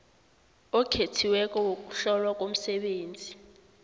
okhethiweko wokuhlolwa komsebenzi